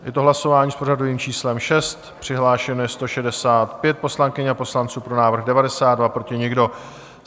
Je to hlasování s pořadovým číslem 6, přihlášeno je 165 poslankyň a poslanců, pro návrh 92, proti nikdo.